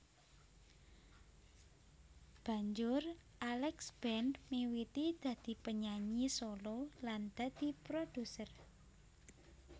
Banjur Alex Band miwiti dadi penyanyi solo lan dadi produser